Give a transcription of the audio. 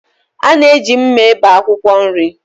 Ana eji mma ebé akwụkwọ nri.